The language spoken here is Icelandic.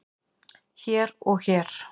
hér og hér